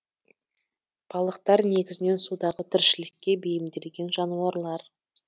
балықтар негізінен судағы тіршілікке бейімделген жануарлар